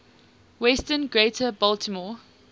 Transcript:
western greater baltimore